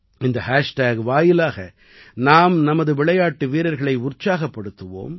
இந்த ஹேஷ்டேக் வாயிலாக நாம் நமது விளையாட்டு வீரர்களை உற்சாகப்படுத்துவோம்